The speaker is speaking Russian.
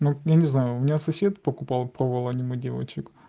я не знаю у меня сосед покупал пробовал аниме девочек